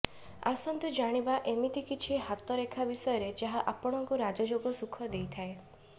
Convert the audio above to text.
ଆସନ୍ତୁ ଜାଣିବା ଏମିତି କିଛି ହାତ ରେଖା ବିଷୟରେ ଯାହା ଆପଣଙ୍କୁ ରାଜଯୋଗ ସୁଖ ଦେଇଥାଏ